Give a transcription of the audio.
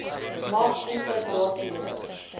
mag insluit raadslede